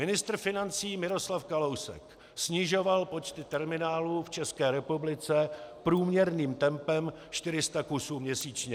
Ministr financí Miroslav Kalousek snižoval počty terminálů v České republice průměrným tempem 400 kusů měsíčně.